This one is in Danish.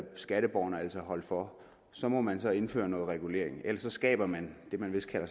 skatteborgerne altså holde for så må man så indføre noget regulering ellers skaber man det man vist kalder